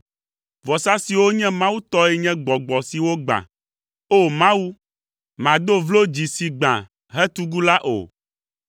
Vɔsa siwo nye Mawu tɔe nye gbɔgbɔ si wogbã. O! Mawu, màdo vlo dzi si gbã hetugu la o.